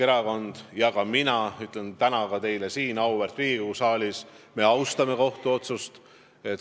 Ka mina ütlen täna teile, auväärt Riigikogu, siin saalis, et me austame kohtu otsust.